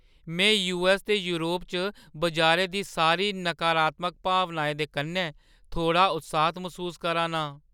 में यूऐस्स ते योरप च बजारै दी सारी नकारात्मक भावनाएं दे कन्नै थोह्ड़ा उत्साह्त मसूस करा नां।